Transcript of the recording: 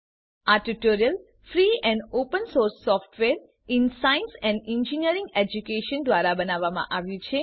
આ tutorial free and open source software in science and engineering education દ્વારા બનાવવામાં આવ્યું છે